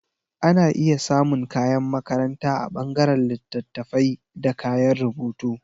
Ana iya samun kayan makaranta a ɓangaren littattafaibda kayan rubutu